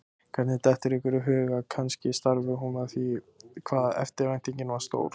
Honum dettur í hug að kannski stafi hún af því hvað eftirvæntingin var stór.